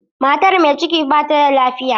Matar mai ciki ba ta da lafiya.